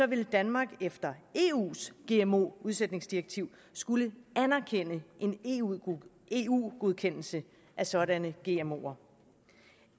ville danmark efter eus gmo udsætningsdirektiv skulle anerkende en eu eu godkendelse af sådanne gmoer